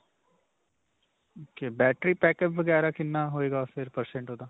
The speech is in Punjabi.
ok. battery backup ਵਗੈਰਾ ਕਿੰਨਾ ਹੋਏਗਾ, ਫਿਰ percent ਓਹਦਾ.